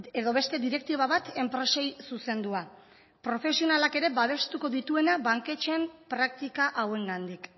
edo beste direktiba bat enpresei zuzendua profesionalak ere babestuko dituena banketxeen praktika hauengandik